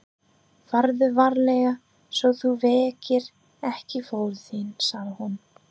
Farðu varlega svo þú vekir ekki föður þinn, sagði hún.